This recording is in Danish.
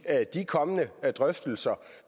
de kommende drøftelser